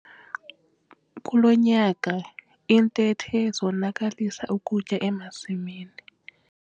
Kulo nyaka iintethe zonakalisa ukutya emasimini.